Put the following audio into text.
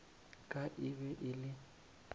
ka e be e le